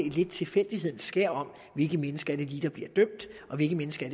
et lidt tilfældighedens skær over hvilke mennesker der lige bliver dømt og hvilke mennesker